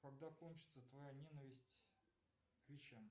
когда кончится твоя ненависть к вещам